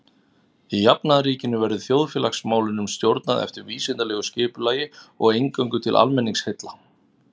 Í jafnaðarríkinu verður þjóðfélagsmálunum stjórnað eftir vísindalegu skipulagi og eingöngu til almenningsheilla.